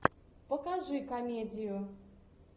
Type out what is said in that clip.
покажи комедию